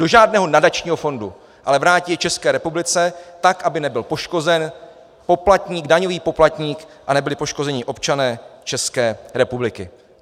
Do žádného nadačního fondu, ale vrátí je České republice, tak aby nebyl poškozen poplatník, daňový poplatník, a nebyli poškozeni občané České republiky.